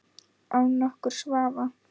Án nokkurs vafa.